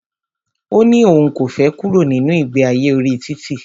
Ó ní òun kò fẹ kúrò nínu ìgbe ayé orí títì.